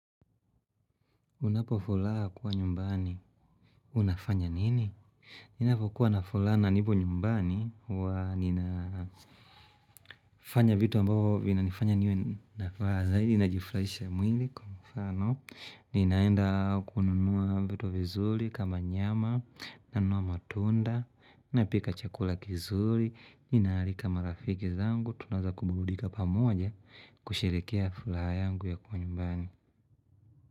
Unapo furaha kuwa nyumbani, unafanya nini? Mimi ninapokuwa na furaha na nipo nyumbani huwa ninafanya vitu ambavo vina nifanya niwe nafuraha, zaidi najifurahisha mwili, kwa mfano, ninaenda kununua vitu vizuri kama nyama, nanunua matunda, napika chakula kizuri, nina arika marafiki zangu, tunaanza kuburudika pamoja kusherehekea furaha yangu ya kuwa nyumbani.